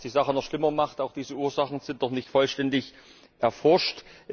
Und was die Sache noch schlimmer macht Diese Ursachen sind auch noch nicht vollständig erforscht.